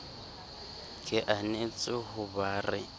ke anetse ho ba re